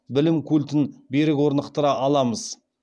білім культін берік орнықтыра аламыз